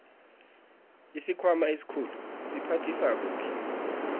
isikhwama esikhulu siphathisa kuhle